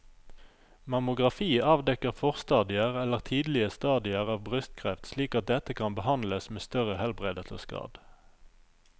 Mammografi avdekker forstadier eller tidlige stadier av brystkreft slik at dette kan behandles med større helbredelsesgrad.